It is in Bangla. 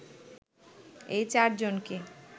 ওই চারজনকে